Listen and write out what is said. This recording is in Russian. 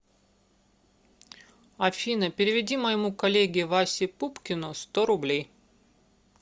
афина переведи моему коллеге васе пупкину сто рублей